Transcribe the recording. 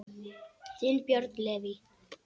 Þinn, Björn Leví.